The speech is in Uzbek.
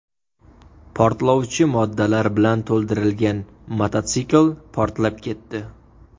Portlovchi moddalar bilan to‘ldirilgan mototsikl portlab ketdi.